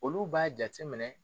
Olu b'a jateminɛ